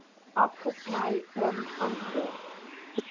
afgesny oom antwoord